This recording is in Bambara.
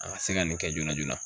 A ka se ka nin kɛ joona joona